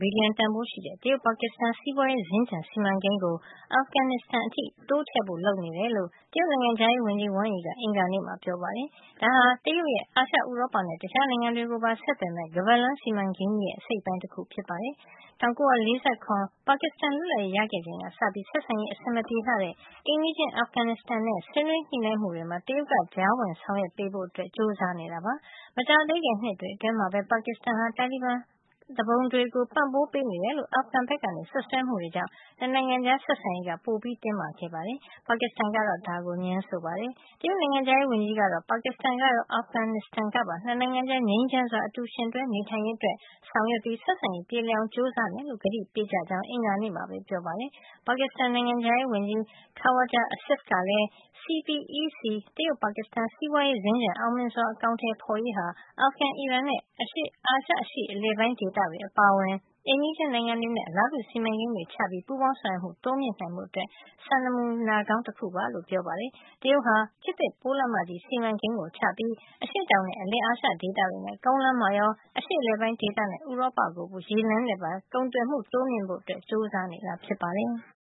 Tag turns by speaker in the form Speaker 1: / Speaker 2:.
Speaker 1: ဘီလျံတန်ဖိုးရှိတဲ့ တရုတ်- ပါကစ္စတန် စီးပွါးရေးစင်္ကြန် စီမံကိန်းကို အာဖဂန်နစ္စတန် အထိ တိုးချဲ့ဖို့ လုပ်နေတယ်လို့ တရုတ်နိုင်ငံခြားရေး ဝန်ကြီး Wang Yi ကအင်္ဂါနေ့မှာ ပြောပါတယ်။ ဒါဟာ တရုတ်ရဲ့ အာရှ၊ ဥရောပနဲ့ တခြား နိုင်ငံတွေကို ပါ ဆက်သွယ်မယ့် ခါးပတ်လမ်း စီမံကိန်းကြီးရဲ့ အစိတ်အပိုင်း တခု ဖြစ်ပါတယ်။ ၁၉၄၇ ခုနှစ် ပါကစ္စတန်လွတ်လပ်ရေးရ ခဲ့ချိန်ကစပြီး ဆက်ဆံရေး အဆင်မပြေလှတဲ့ အိမ်နီးချင်း အာဖဂန်နစ္စတန်နဲ့ ဆွေးနွေး ညှိနှိုင်းမှု တွေမှာ တရုတ်က ကြားဝင်ဆောင်ရွက်ပေးဖို့ ကြိုးစားနေတာပါ။ မကြာသေးခင်နှစ်တွေ အတွင်းမှာပဲ ပါကစ္စတန်ဟာ တာလီဘန်သူပုန်တွေကို ပံ့ပိုးပေးနေတယ်လို့ အာဖဂန်ဘက်က စွပ်စွဲမှုတွေကြောင့် ၂ နိုင်ငံကြား ဆက်ဆံရေးဟာ ပိုပြီးတင်းမာနေပါတယ်။ ပါကစ္စတန်ကတော့ ဒါကို ငြင်းဆိုပါတယ်။ တရုတ်နိုင်ငံခြားရေးဝန်ကြီးကတော့ ပါကစ္စတန်ကရော အာဖဂန်နစ္စတန် ကပါ ၂ နိုင်ငံကြား ငြိမ်းချမ်းစွာ အတူယှဉ်တွဲနေထိုင်ရေးအတွက် ဆောင်ရွက်ပြီး ဆက်ဆံရေး ပြေလည်အောင် ကြိုးစားမယ်လို့ ကတိပေးကြကြောင်း အင်္ဂါနေ့မှာပဲ ပြောကြားခဲ့ပါတယ်။ ပါကစ္စတန် နိုင်ငံခြားရေးဝန်ကြီး Khawaja Asif ကလည်း CPEC တရုတ် - ပါကစ္စတန် စီးပွါးရေးစင်္ကြန် အောင်မြင်စွာ အကောင်ထည် ဖေါ်ရေးဟာ အာဖဂန်၊ အီရန်နဲ့ အာရှ အရှေ့ပိုင်း အလယ်ပိုင်း ဒေသတွေ အပါအဝင် အိမ်နီးချင်း နိုင်ငံတွေနဲ့ အလားတူ စီမံကိန်းတွေ ချမှတ်ပြီး ပူးပေါင်းဆောင်ရွက်မှု တိုးမြှင့်နိုင်ဖို့ စံနမူနာကောင်း တခု ဖြစ်ကြောင်း ပြောပါတယ်။ တရုတ်ဟာ ခေတ်သစ် ပိုးလမ်းမကြီး စီမံကိန်းချပြီး အရှေ့တောင်နဲ့ အလယ်အာရှဒေသတွေနဲ့ ကုန်းလမ်းမှာရော အရှေ့အလယ်ပိုင်းဒေသနဲ့ ဥရောပကို ရေလမ်းနဲ့ပါ ကုန်သွယ်မှု တိုးမြှုင့်ဖို့ ကြိုးစားနေတာ ဖြစ်ပါတယ်။